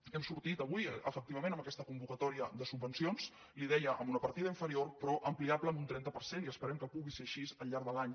hem sortit avui efectivament amb aquesta convoca·tòria de subvencions li deia amb una partida inferior però ampliable en un trenta per cent i esperem que pu·gui ser així al llarg de l’any